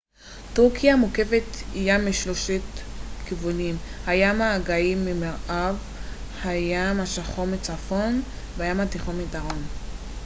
טורקיה מוקפת ים משלושה כיוונים הים האגאי ממערב הים השחור מצפון והים התיכון מדרום